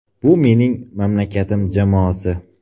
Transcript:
Bu mening mamlakatim jamoasi.